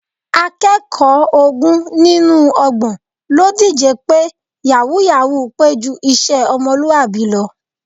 Akẹ́kọ̀ọ́ ogún nínú ọgbọ̀n ló díje pé yàwúú-yàwuù pé ju iṣẹ́ ọmọlúwàbí lọ